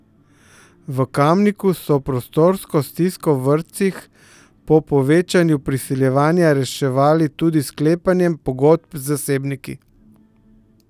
V Kamniku so prostorsko stisko v vrtcih po povečanju priseljevanja reševali tudi s sklepanjem pogodb z zasebniki.